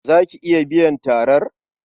Za ki iya biyan tarar?